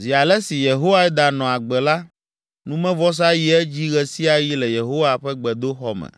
Zi ale si Yehoiada nɔ agbe la, numevɔsa yi edzi ɣe sia ɣi le Yehowa ƒe gbedoxɔ me.